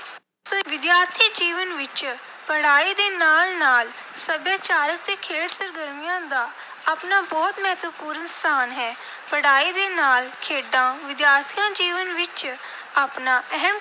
ਵਿਦਿਆਰਥੀ ਜੀਵਨ ਵਿੱਚ ਪੜ੍ਹਾਈ ਦੇ ਨਾਲ ਨਾਲ ਸੱਭਿਆਚਾਰਕ ਅਤੇ ਖੇਡ ਸਰਗਰਮੀਆਂ ਦਾ ਆਪਣਾ ਬਹੁਤ ਮਹੱਤਵਪੂਰਨ ਸਥਾਨ ਹੈ। ਪੜ੍ਹਾਈ ਦੇ ਨਾਲ ਖੇਡਾਂ ਵਿਦਿਆਰਥੀ ਜੀਵਨ ਵਿੱਚ ਆਪਣਾ ਅਹਿਮ